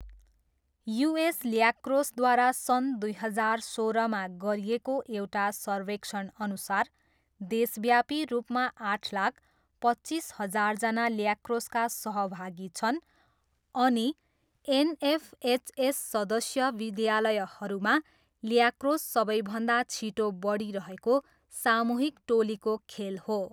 US ल्याक्रोसद्वारा सन् दुई हजार सोह्रमा गरिएको एउटा सर्वेक्षणअनुसार देशव्यापी रूपमा आठ लाख पच्चिस हजारजना ल्याक्रोसका सहभागी छन् अनि एनएफएचएस सदस्य विद्यालयहरूमा ल्याक्रोस सबैभन्दा छिटो बढिरहेको सामूहिक टोलीको खेल हो।